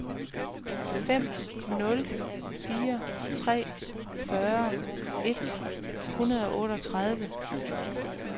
fem nul fire tre fyrre et hundrede og otteogtredive